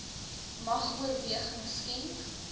mag oorweging skenk